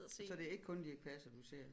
Så det er ikke kun Dirch Passer du ser